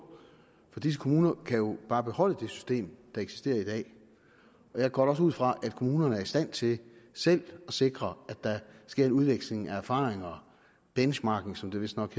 for disse kommuner kan jo bare beholde det system der eksisterer i dag jeg går da også ud fra at kommunerne er i stand til selv at sikre at der sker en udveksling af erfaringer benchmarking som det vist nok